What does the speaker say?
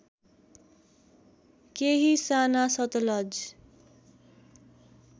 केही साना सतलज